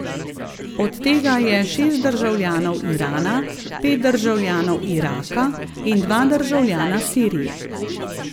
Od tega je šest državljanov Irana, pet državljanov Iraka in dva državljana Sirije.